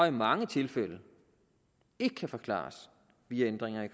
i mange tilfælde ikke kan forklares via ændringer i